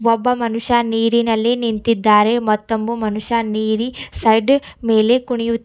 ಒಬ್ಬ ಮನುಷ್ಯ ನೀರಿನಲ್ಲಿ ನಿಂತಿದ್ದಾರೆ ಮತೋಮು ಮನುಷ್ಯ ನೀರಿ ಸೈಡ್ ಮೇಲೆ ಕುಣಿಯುತಿ--